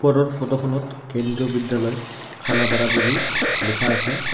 ওপৰৰ ফটো খনত কেন্দ্ৰীয় বিদ্যালয় খানাপাৰা বুলি লিখা আছে।